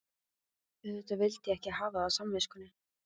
Auðvitað vildi ég ekki hafa það á samviskunni.